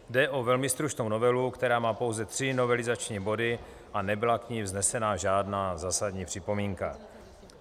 Jde o velmi stručnou novelu, která má pouze tři novelizační body, a nebyla k ní vznesena žádná zásadní připomínka.